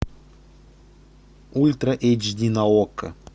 ультра эйч ди на окко